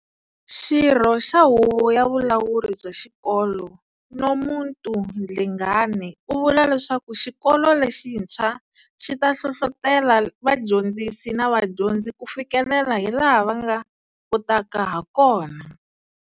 Xirho xa huvo ya vulawuri bya xikolo, Nomuntu Dlengane, u vula leswaku xikolo lexitshwa xi ta hlohlotela vadyondzisi na vadyondzi ku fikelela hi laha va nga kotaka hakona.